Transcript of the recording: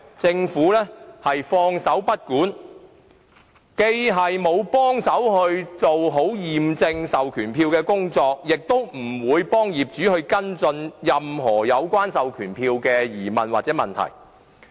政府放手不管，既沒有協助做好驗證授權書的工作，也不會協助業主跟進任何有關授權書的疑問或問題。